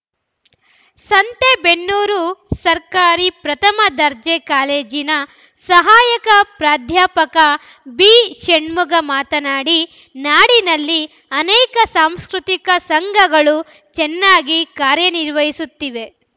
ಸಂತೆಬೆನ್ನೂರು ಸರ್ಕಾರಿ ಪ್ರಥಮ ದರ್ಜೆ ಕಾಲೇಜಿನ ಸಹಾಯಕ ಪ್ರಾಧ್ಯಾಪಕ ಬಿಷಣ್ಮಖ ಮಾತನಾಡಿ ನಾಡಿನಲ್ಲಿ ಅನೇಕ ಸಾಂಸ್ಕೃತಿಕ ಸಂಘಗಳು ಚೆನ್ನಾಗಿ ಕಾರ್ಯನಿರ್ವಹಿಸುತ್ತಿವೆ